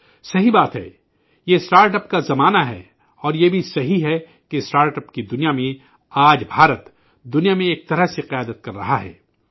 صحیح بات ہے، یہ اسٹارٹ اپ کا زمانہ ہے، اور یہ بھی صحیح ہے کہ اسٹارٹ اپ کے میدان میں آج بھارت دنیا بھر میں ایک طرح سے قائدانہ کردار ادا کر رہا ہے